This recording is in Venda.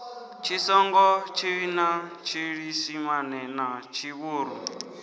tshitsonga tshivenḓa tshiisimane na tshivhuru